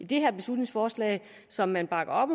det her beslutningsforslag som man bakker op